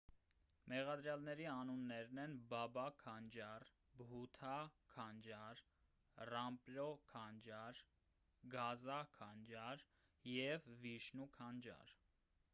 մեղադրյալների անուններն են բաբա քանջար բհութա քանջար ռամպրո քանջար գազա քանջար և վիշնու քանջար